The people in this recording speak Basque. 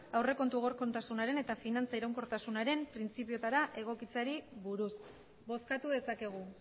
aurrekontu egonkortasunaren eta finantza iraunkortasunaren printzipioetara egokitzeari buruz bozkatu dezakegu